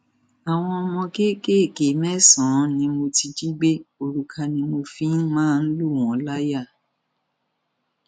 àwọn ọmọ kéékèèké mẹsànán ni mo ti jí gbé òrùka ni mo fi ń máa ń lù wọn láyà